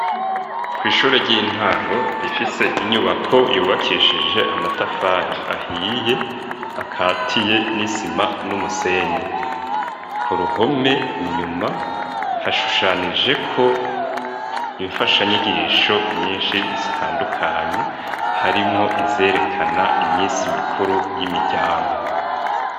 kwishure ry'intango rifise inyubako yubakishije amatafari ahiye, akatiye n'isima n'umusenyi . Ku ruhome , inyuma hashushanijeko imfasha nyigisho nyinshi zitandukanye, harimwo izerekana imisi mikuru y'imiryango.